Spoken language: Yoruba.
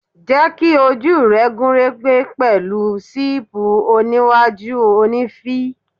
Jẹ́ kí ojú rẹ gún régé pẹ̀lú ṣéìpù iwájú òní v.